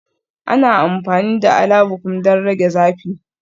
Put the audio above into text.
Ana amfani da Alabukun don rage zafi